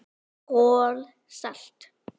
KOL SALT